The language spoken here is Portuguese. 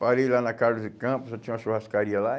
Parei lá na Carlos de Campos, só tinha uma churrascaria lá.